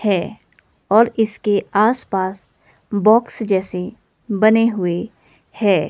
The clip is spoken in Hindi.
है और इसके आसपास बॉक्स जैसे बने हुए है।